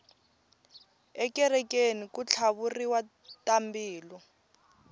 ekerekeni ku tlhavuriwa tambilu